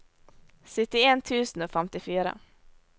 syttien tusen og femtifire